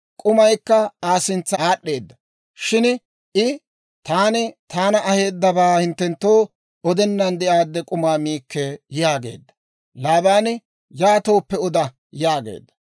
k'umaykka Aa sintsa aad'd'eedda. Shin I, «Taani taana aheedabaa hinttenttoo odennan de'aadde k'umaa miikke» yaageedda. Laabaani, «Yaatooppe oda» yaageedda.